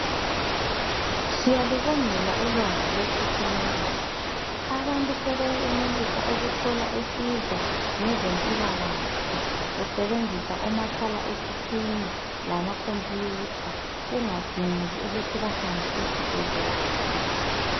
Siyalubongela ulwazi lwe thekhinoloji. Abantu sebeyenelisa ukuthola usizo ngezempilakahle besebenzisa omakhala ekhukhwini lama khompiyutha kungadingeki ukuthi bahambe esibhedlela mathupha.